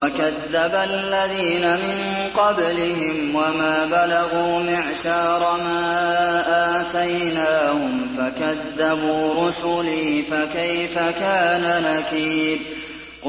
وَكَذَّبَ الَّذِينَ مِن قَبْلِهِمْ وَمَا بَلَغُوا مِعْشَارَ مَا آتَيْنَاهُمْ فَكَذَّبُوا رُسُلِي ۖ فَكَيْفَ كَانَ نَكِيرِ